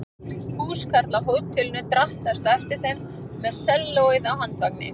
Húskarl af hótelinu drattaðist á eftir þeim með sellóið á handvagni.